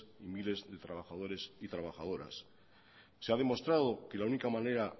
miles de trabajadores y trabajadoras se ha demostrado que la única manera